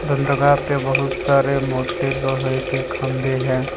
बंदरगाह पे बहुत सारे मोटे लोहे के खंबे है।